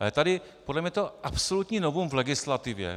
Ale tady podle mne je to absolutní novum v legislativě.